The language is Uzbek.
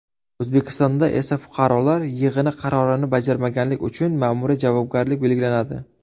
O‘zbekistonda fuqarolar yig‘ini qarorini bajarmaganlik uchun ma’muriy javobgarlik belgilanadi.